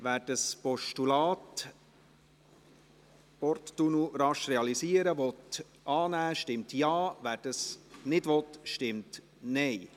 Wer das Postulat «Porttunnel rasch realisieren», annehmen will, stimmt Ja, wer dies nicht will, stimmt Nein.